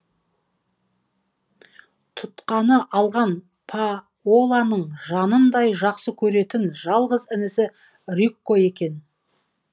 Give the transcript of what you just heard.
тұтқаны алған паоланың жанындай жақсы көретін жалғыз інісі рикко екен